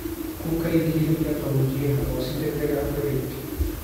Ku kaydi hilibka qaboojiyaha oo si adag u xidh.